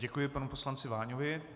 Děkuji panu poslanci Váňovi.